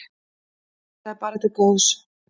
Þetta er bara til góðs.